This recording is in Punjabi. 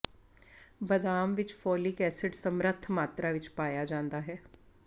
ਬਦਾਮ ਵਿੱਚ ਫੋਲਿਕ ਐਸਿਡ ਸਮਰੱਥ ਮਾਤਰਾ ਵਿੱਚ ਪਾਇਆ ਜਾਂਦਾ ਹੈ